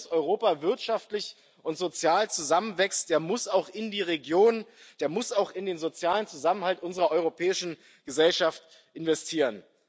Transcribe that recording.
Wer will, dass Europa wirtschaftlich und sozial zusammenwächst, der muss auch in die Regionen, der muss auch in den sozialen Zusammenhalt unserer europäischen Gesellschaft investieren.